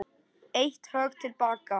Eitt högg til baka.